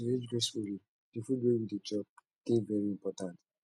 to age gracefully di food wey we dey chop dey very important